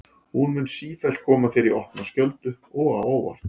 Hún mun sífellt koma þér í opna skjöldu og á óvart.